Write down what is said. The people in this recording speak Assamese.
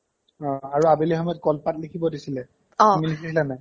অ আৰু আবেলি সময়ত কলপাত লিখিব দিছিলে অ তুমি লিখিছিলা নে নাই ?